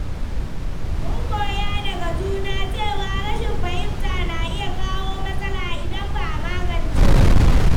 Mun koya daga juna cewa rashin fahimta na iya kawo matsala idan ba a magance ta ba.